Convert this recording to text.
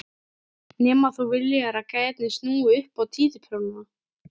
Nema þú viljir að gæjarnir snúi upp á títuprjónana!